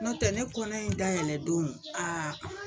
Nɔntɛ ne kɔnɔ in dayɛlɛdon